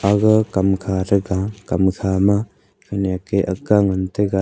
aga kamkha thega kamkha ma khemek a aakk ga ngan tega.